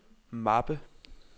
mappe